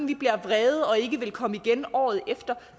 vi bliver vrede og ikke vil komme igen året efter